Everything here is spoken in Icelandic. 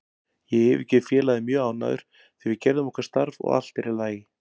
Ég yfirgef félagið mjög ánægður því við gerðum okkar starf og allt er í lagi.